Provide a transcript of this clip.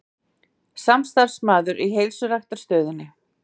Samstarfsmaður í heilsuræktarstöðinni.